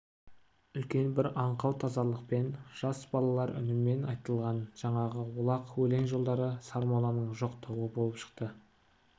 үлкен бір аңқау тазалықпен жас балалар үнімен айтылған жаңағы олақ өлең жолдары сармолланың жоқтауы болып шықты